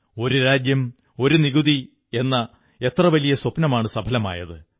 ഒരു രാജ്യം ഒരു നികുതി എന്ന എത്ര വലിയ സ്വപ്നമാണു സഫലമായത്